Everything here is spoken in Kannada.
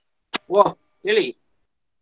ಓ ಹೇಳಿ.